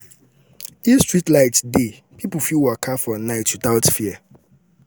if streetlight dey people go fit waka for night without fear.